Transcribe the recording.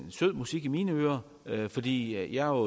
sød musik i mine ører fordi jeg